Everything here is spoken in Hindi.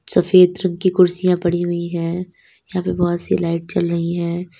सफेद रंग की कुर्सियां पड़ी हुई है यहां पे बहुत सी लाइट जल रही है।